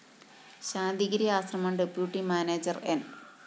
Santhigiri Ashram deputy manager ന്‌